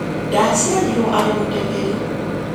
Ndaaciarirũo arĩ mũteng’eri.